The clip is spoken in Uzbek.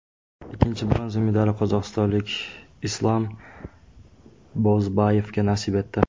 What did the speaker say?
Ikkinchi bronza medali qozog‘istonlik Islam Bozbayevga nasib etdi.